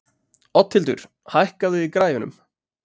Oddhildur, hækkaðu í græjunum.